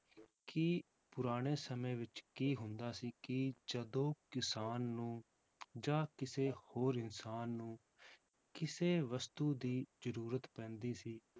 ਕਿ ਪੁਰਾਣੇ ਸਮੇਂ ਵਿੱਚ ਕੀ ਹੁੰਦਾ ਸੀ ਕਿ ਜਦੋਂ ਕਿਸਾਨ ਨੂੰ ਜਾਂ ਕਿਸੇ ਹੋਰ ਇਨਸਾਨ ਨੂੰ ਕਿਸੇ ਵਸਤੂ ਦੀ ਜ਼ਰੂਰਤ ਪੈਂਦੀ ਸੀ